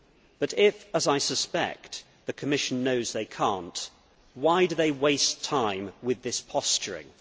But if, as I suspect, the Commission knows that it cannot, why does it waste time with this posturing?